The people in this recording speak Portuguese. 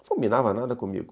Não fulminava nada comigo.